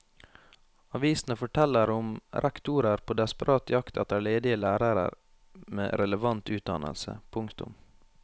Avisene forteller om rektorer på desperat jakt etter ledige lærere med relevant utdannelse. punktum